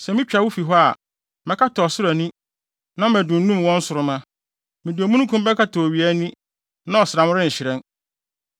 Sɛ mitwa wo fi hɔ a, mɛkata ɔsoro ani na madunnum wɔn nsoromma; mede omununkum bɛkata owia ani, na ɔsram renhyerɛn.